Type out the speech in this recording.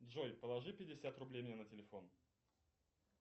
джой положи пятьдесят рублей мне на телефон